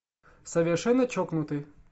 совершенно чокнутый